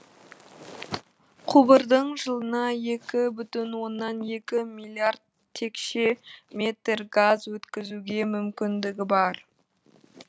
құбырдың жылына екі бүтін оннан екі миллиард текше метр газ өткізуге мүмкіндігі бар